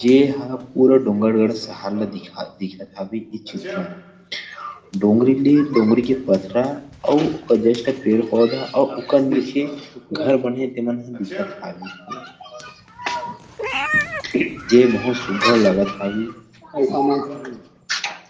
ये ह पूरा डोंगरगढ़ शहर ल दिखा दिखात हवे इ चित्र म डोंगरी ले डोंगरी के पथरा औउ जस्ट पेड़ -पौधा औउ उकर नीचे घर बनॆ हे ते मन ह दिखत हवे ये बहुत सुन्दर लगत हवे --